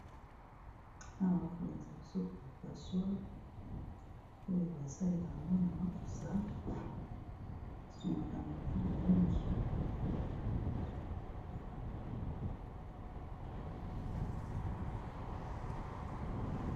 Awa ba kolakisa biso passoire oyo basalelaka yango na makusa esungaka na biloko mingi.